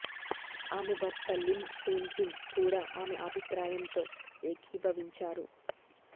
ఆమె భర్త Lim Soon Jin కూడా ఆమె అభిప్రాయంతో ఏకీభవించారు